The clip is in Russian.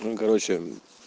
ну короче